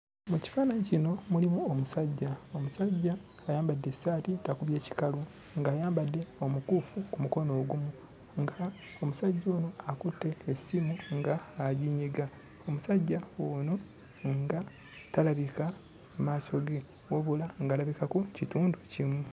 Mu kifaananyi kino mulimu omusajja, omusajja ayambadde essaati takubye kikalu, ng'ayambadde omukuufu ku mukono ogumu, ng'omusajja ono akutte essimu ng'aginyiga. Omusajja ono nga talabika maaso ge wabula ng'alabikako kitundu kimu.